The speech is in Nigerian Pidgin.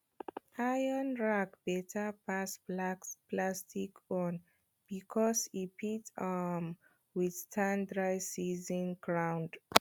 iron rake beta pass plastic own becos e fit um withstand dry season ground